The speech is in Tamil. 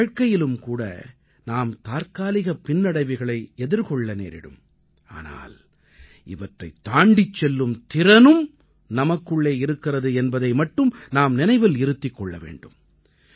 நமது வாழ்க்கையிலும் கூட நாம் தற்காலிகப் பின்னடைவுகளை எதிர்கொள்ள நேரிடும் ஆனால் இவற்றைத் தாண்டிச் செல்லும் திறனும் நமக்குள்ளே இருக்கிறது என்பதை மட்டும் நாம் நினைவில் இருத்திக் கொள்ள வேண்டும்